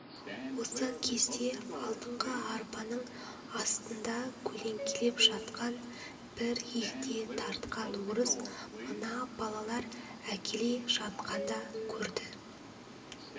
осы кезде алдыңғы арбаның астында көлеңкелеп жатқан бір егде тартқан орыс мына балалар әкеле жатқанда көрді